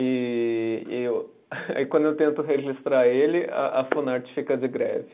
E e o, aí quando eu tento registrar ele, a Funarte fica de greve.